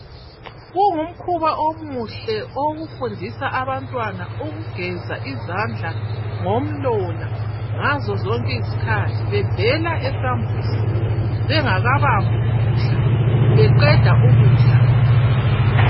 Kungu mkhuba omuhle owokufundisa abantwana ukugeza izandla ngomlola ngazo zonke izikhathi bevela esambuzi bengakabambi ukudla beqeda ukudla.